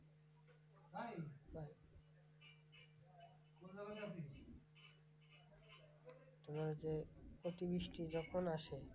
তোমার হচ্ছে অতিবৃষ্টি যখন আসে,